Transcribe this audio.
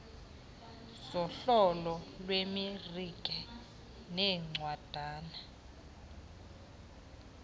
zohlolo lwemarike neencwadana